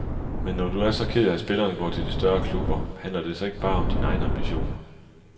Men når du er så ked af at spillerne går til de større klubber, handler det så ikke bare om dine egne ambitioner?